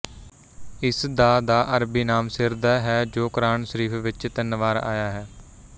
ਇਸ ਦਾ ਦਾ ਅਰਬੀ ਨਾਮ ਸਿਰਦਹ ਹੈ ਜੋ ਕੁਰਾਨ ਸ਼ਰੀਫ ਵਿੱਚ ਤਿੰਨ ਵਾਰ ਆਇਆ ਹੈ